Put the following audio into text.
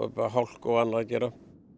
hálku og annað að gera